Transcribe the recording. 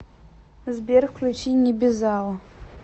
сбер включи небезао